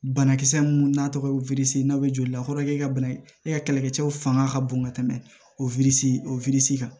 Banakisɛ mun n'a tɔgɔ ye n'a bɛ joli la fɔlɔ e ka bana e ka kɛlɛkɛ cɛw fanga ka bon ka tɛmɛ o o kan